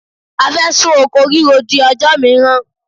A fẹ́ sún oko ríro di ọjọ́ mìíràn.